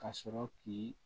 Ka sɔrɔ k'i